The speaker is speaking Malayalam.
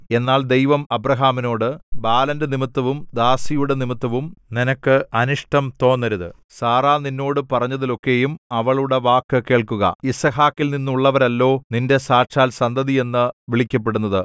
എന്നാൽ ദൈവം അബ്രാഹാമിനോട് ബാലന്റെ നിമിത്തവും ദാസിയുടെ നിമിത്തവും നിനക്ക് അനിഷ്ടം തോന്നരുത് സാറാ നിന്നോട് പറഞ്ഞതിലൊക്കെയും അവളുടെ വാക്ക് കേൾക്കുക യിസ്ഹാക്കിൽനിന്നുള്ളവരല്ലോ നിന്റെ സാക്ഷാൽ സന്തതിയെന്ന് വിളിക്കപ്പെടുന്നത്